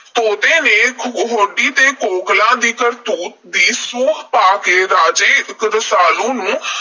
ਤੋਤੇ ਤੋਂ ਹੋਡੀ ਤੇ ਕੋਕਲਾਂ ਦੀ ਕਰਤੂਤ ਦੀ ਸੂਹ ਪਾ ਕੇ ਰਾਜੇ ਰਸਾਲੂ ਨੂੰ